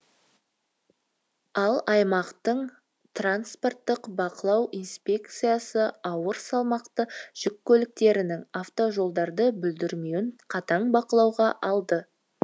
ал аймақтың транспорттық бақылау инспекциясы ауыр салмақты жүк көліктерінің автожолдарды бүлдірмеуін қатаң бақылауға алды